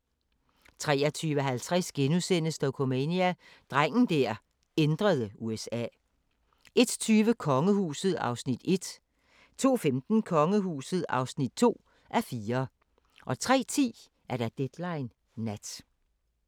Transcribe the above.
23:50: Dokumania: Drengen der ændrede USA * 01:20: Kongehuset (1:4) 02:15: Kongehuset (2:4) 03:10: Deadline Nat